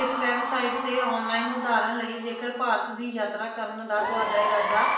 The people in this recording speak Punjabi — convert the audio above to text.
ਇਸ website ਤੇ online ਉਧਾਰਣ ਲਈ ਜੇਕਰ ਭਾਰਤ ਦੀ ਯਾਤਰਾ ਕਰਨ ਦਾ ਤੁਹਾਡਾ ਇਰਾਦਾ